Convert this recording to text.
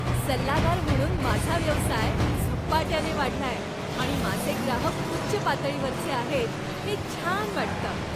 सल्लागार म्हणून माझा व्यवसाय झपाट्यानं वाढलाय आणि माझे ग्राहक उच्च पातळीवरचे आहेत हे छान वाटतं.